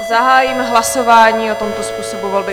Zahájím hlasování o tomto způsobu volby.